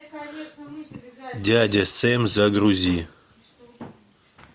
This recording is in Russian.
дядя сэм загрузи